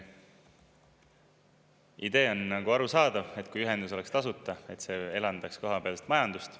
Idee on arusaadav, et kui ühendus oleks tasuta, siis see elavdaks kohapealset majandust.